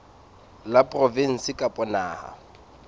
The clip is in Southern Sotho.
la provinse kapa la naha